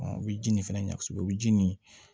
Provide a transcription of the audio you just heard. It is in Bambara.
u bɛ ji nin fɛnɛ ɲasi o bi ji nin